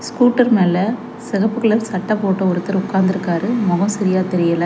கூட்டர் மேல செகப்பு கலர் சட்ட போட்ட ஒருத்தர் உக்காந்திருக்காரு மொகோ சரியா தெரியல.